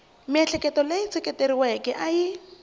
miehleketo leyi seketeriweke a yi